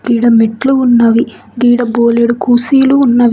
గీడ మెట్లు ఉన్నవి. గీడ బోలెడు కూసీలు ఉన్నవి.